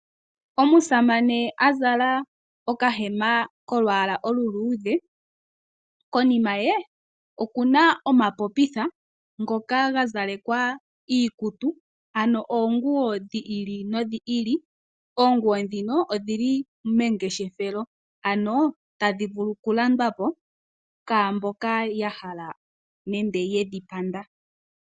Omusaane azala oka hema kolu yala oluluudhe, konima ye okuna omapopitha ngoka gazalekwa iikutu ano oonguwo dhiili nodhiili , oonguwo dhino odhili mengeshefelo ano tadhivulu okulandwapo kwaamboka yahala nenge yedhipanda.